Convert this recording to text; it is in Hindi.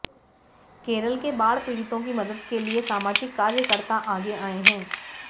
केरल के बाढ़ पीड़ितों की मदद के लिए सामाजिक कार्यकर्ता आगे आए हैं